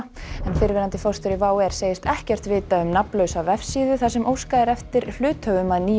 fyrrverandi forstjóri WOW segist ekkert vita um nafnlausa vefsíðu þar sem óskað er eftir hluthöfum að nýju